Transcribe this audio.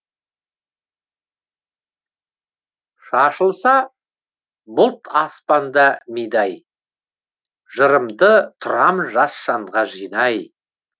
шашылса бұлт аспанда мидай жырымды тұрам жас жанға жинай